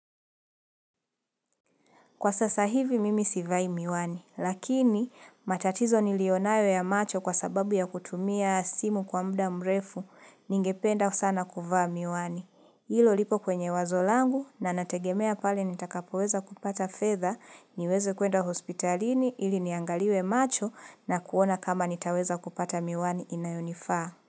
Kwa sasa hivi mimi sivai miwani, lakini matatizo nilio nayo ya macho kwa sababu ya kutumia simu kwa muda mrefu, ningependa sana kuvaa miwani. Hilo lipo kwenye wazo langu na nategemea pale nitakapoweza kupata fedha, niweze kuenda hospitalini ili niangaliwe macho na kuona kama nitaweza kupata miwani inayo nifaa.